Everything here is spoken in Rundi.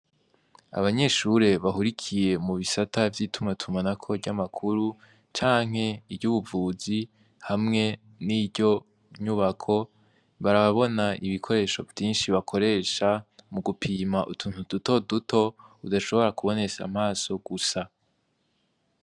Abanyeshure bahurikiye mu bisata vy'itumatumanako ry'amakuru canke iry'ubuvuzi hamwe n'iryinyubako barabona ibikoresho vyinshi bakoresha mu gupima utuntu dutoduto udashobora kubonesha amaso gusa.